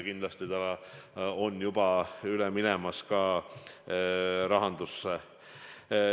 Kindlasti on see juba üle minemas ka rahandusse.